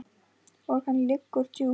Og hann liggur djúpt